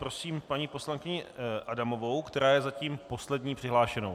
Prosím paní poslankyni Adamovou, která je zatím poslední přihlášenou.